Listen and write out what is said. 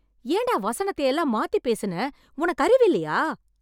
ஏன்டா வசனத்தை எல்லாம் மாத்தி பேசுன? உனக்கு அறிவில்லையா..